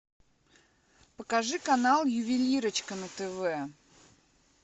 покажи канал ювелирочка на тв